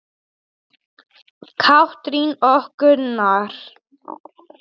Katrín og Gunnar.